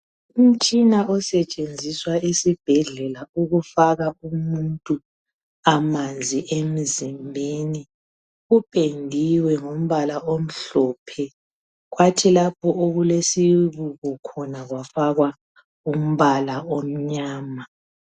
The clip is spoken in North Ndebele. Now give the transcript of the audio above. Umtshina osetshenziswa esibhedlela ukufaka umuntu amanzi emizimbeni, kupendiwe ngombala omhlophe kwathi lapho okulesibuko khona kwafakwa umbala omnyama.